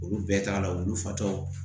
Olu bɛɛ t'a la wulu fatɔ